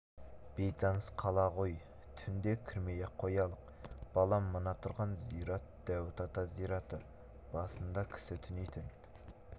бейтаныс қала ғой түнде кірмей-ақ қоялық балам мына тұрған зират дәуіт ата зираты басыңда кісі түнейтін